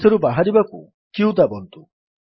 ଏଥିରୁ ବାହାରିବାକୁ q ଦାବନ୍ତୁ